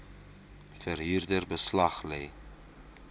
verhuurder beslag lê